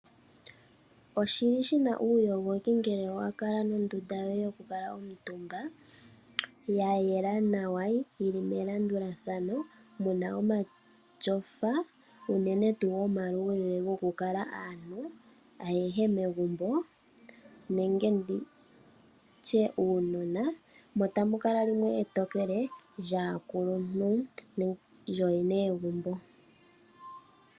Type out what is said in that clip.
Oshili shina uuyogoki ngele wa kala wuna oondunda yoku kala omutumba ya yela nawa yili melandulathano muna omatyofa unene tuu omaluudhe goku kala aantu ayehe megumbo nenge nditye uunona. Mono tamu kala limwe etokele lyaakuluntu lyooyene yegumbo.